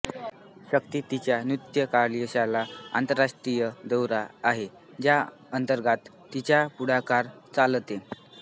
शक्ती तिच्या नृत्य कार्यशाळा आंतरराष्ट्रीय दौरा आहे ज्या अंतर्गत तिच्या पुढाकार चालते